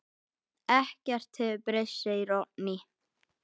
Ekkert hefur breyst, segir Oddný.